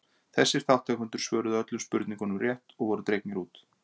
Þessir þátttakendur svöruðu öllum spurningunum rétt og voru dregnir út.